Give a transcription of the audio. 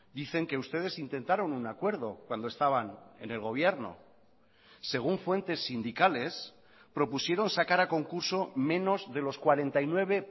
dicen que ustedes intentaron un acuerdo cuando estaban en el gobierno según fuentes sindicales propusieron sacar a concurso menos de los cuarenta y nueve